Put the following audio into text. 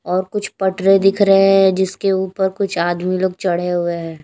और कुछ पटरे दिख रहे है जिसके ऊपर कुछ आदमी लोग चढ़े हुए है।